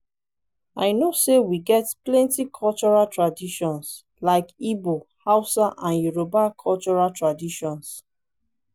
i know say we get plenty cultural traditions like igbo hausa and yoruba cultural traditions.